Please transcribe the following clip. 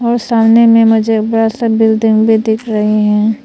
और सामने में मुझे बड़ा सा बिल्डिंग भी दिख रहे हैं।